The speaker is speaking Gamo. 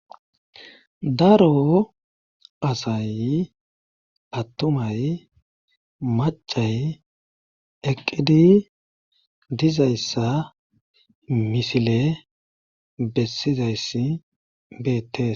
daro asay attumay macay eqqidi dizayssa misile bessizayss beettes